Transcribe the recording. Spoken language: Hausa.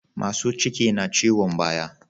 Masu ciki na ciyon baya